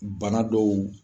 .